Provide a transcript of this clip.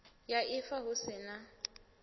ya ifa hu si na